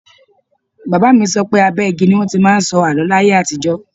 Bàbá mi sọ pé abẹ́ igi ni wọn ti máa ń sọ àló láyé àtijọ́.